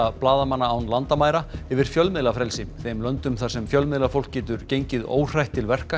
blaðamanna án landamæra yfir fjölmiðlafrelsi þeim löndum þar sem fjölmiðlafólk getur gengið óhrætt til verka